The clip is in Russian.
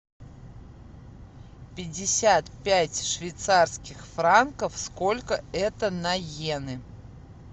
пятьдесят пять швейцарских франков сколько это на йены